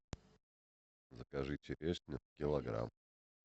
закажи черешню килограмм